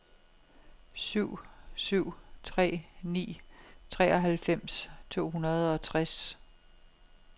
syv syv tre ni treoghalvfems to hundrede og tres